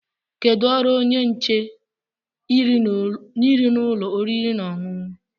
Kedu ọrụ onye nche nri n'ụlọ oriri na ọṅụṅụ?